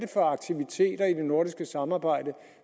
for aktiviteter i det nordiske samarbejde